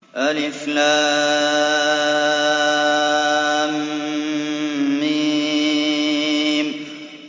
الم